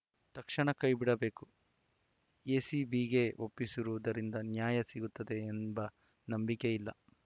ತಕ್ಷಣ ಕೈ ಬಿಡಬೇಕು ಎಸಿಬಿಗೆ ಒಪ್ಪಿಸಿರುವುದರಿಂದ ನ್ಯಾಯ ಸಿಗುತ್ತದೆ ಎಂಬ ನಂಬಿಕೆ ಇಲ್ಲ